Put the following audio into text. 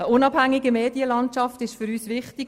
Eine unabhängige Medienlandschaft ist für uns wichtig.